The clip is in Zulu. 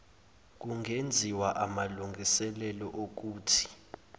kungenziwa aamlungiselelo okuthi